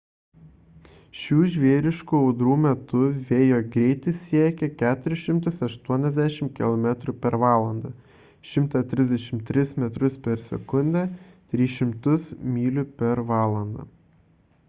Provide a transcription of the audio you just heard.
šių žvėriškų audrų metu vėjo greitis siekia 480 km/h 133 m/s; 300 mph